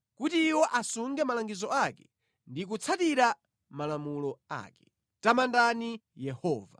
kuti iwo asunge malangizo ake ndi kutsatira malamulo ake. Tamandani Yehova.